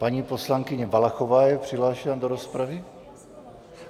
Paní poslankyně Valachová je přihlášena do rozpravy.